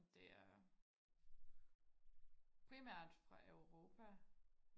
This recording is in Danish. og det er primært fra Europa